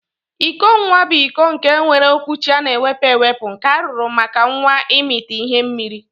Iko nwa bu iko nke nwere okwuchi ana ewepu ewepu nke arụrụ maka nwa imita ihe mmiri.